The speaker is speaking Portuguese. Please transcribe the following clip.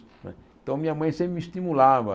Então minha mãe sempre me estimulava.